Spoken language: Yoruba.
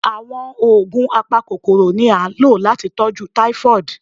Àwọn oògùn apakokoro ni a lo láti tọjú typhoid